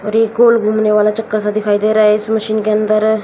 और एक गोल घूमने वाला चक्कर सा दिखाई दे रहा है इस मशीन के अंदर--